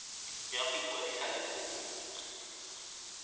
ya go ikwadisa le kopo